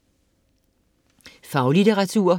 Faglitteratur